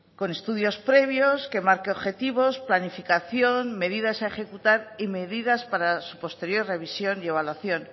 con estudios previos que marque objetivos planificación medidas a ejecutar y medidas para su posterior revisión y evaluación